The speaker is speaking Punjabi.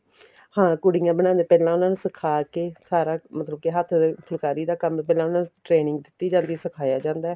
ਹਾਂ ਕੁੜੀਆਂ ਬਣਾਦੀਆਂ ਨੇ ਪਹਿਲਾਂ ਉਹਨਾ ਨੂੰ ਸਿਖਾਕੇ ਸਾਰਾ ਮਤਲਬ ਕੇ ਹੱਥ ਫੁਲਕਾਰੀ ਦਾ ਕੰਮ ਪਹਿਲਾਂ ਉਹਨਾ ਨੂੰ training ਦਿੱਤੀ ਜਾਂਦੀ ਸਿਖਾਇਆ ਜਾਂਦਾ ਏ